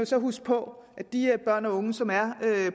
så huske på at de her børn og unge som er